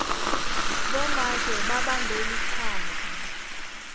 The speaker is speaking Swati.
bomake babambe lichaza